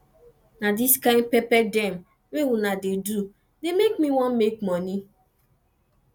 na dis kain pepper dem wey una dey do dey make me wan make moni